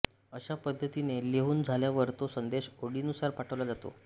अशा पद्धतीने लिहून झाल्यावर तो संदेश ओळीनुसार पाठवला जातो